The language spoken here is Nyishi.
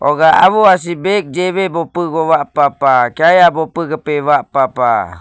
huga sih bag jibu bvgu bupa pah kyaya jibu bupa pah.